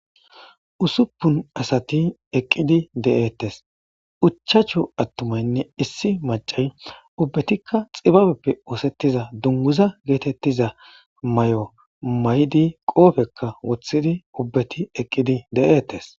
Usuppun asati eqqidi de'ettes uchachu attumaynne issi macay ubbetikka xibabeppe oosettiza dunguza geetettiza may'o may'di qoofekka wothidi ubbeti eqqidi de7eettes